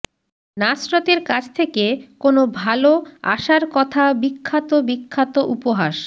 নাসরতের কাছ থেকে কোন ভাল আসার কথা বিখ্যাত বিখ্যাত উপহাস